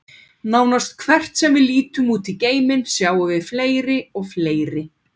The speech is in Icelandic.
Nánast hvert sem við lítum út í geiminn, sjáum við fleiri og fleiri.